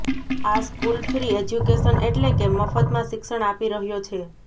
આ school free education એટલે કે મફતમાં શિક્ષણ આપી રહ્યો છે